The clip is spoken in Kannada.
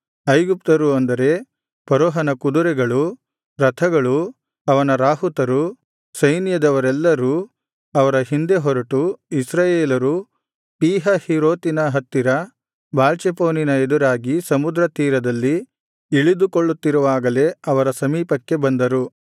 ಐಗುಪ್ತ್ಯರು ಅಂದರೆ ಫರೋಹನ ಕುದುರೆಗಳೂ ರಥಗಳೂ ಅವನ ರಾಹುತರೂ ಸೈನ್ಯದವರೆಲ್ಲರೂ ಅವರ ಹಿಂದೆ ಹೊರಟು ಇಸ್ರಾಯೇಲರು ಪೀಹಹೀರೋತಿನ ಹತ್ತಿರ ಬಾಳ್ಚೆಫೋನಿನ ಎದುರಾಗಿ ಸಮುದ್ರ ತೀರದಲ್ಲಿ ಇಳಿದುಕೊಳ್ಳುತ್ತಿರುವಾಗಲೇ ಅವರ ಸಮೀಪಕ್ಕೆ ಬಂದರು